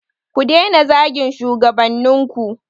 Ku daina zagin shugabannin ku.